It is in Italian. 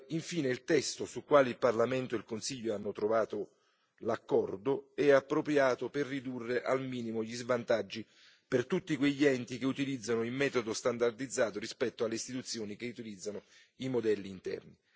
Infine, il testo sul quale il Parlamento e il Consiglio hanno trovato l'accordo è appropriato per ridurre al minimo gli svantaggi per tutti quegli enti che utilizzano il metodo standardizzato rispetto alle istituzioni che utilizzano i modelli interni.